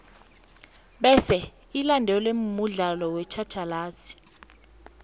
bese ilandelwe mudlalo wetjhatjhalazi